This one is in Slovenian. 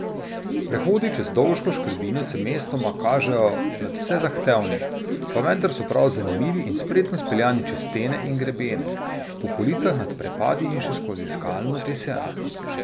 Prehodi čez Dolško škrbino se mestoma kažejo nadvse zahtevni, pa vendar so prav zanimivi in spretno speljani čez stene in grebene, po policah nad prepadi in še skozi skalno tesen.